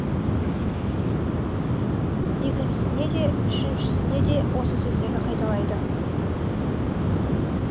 екіншісі де үшіншісі де осы сөздерді қайталайды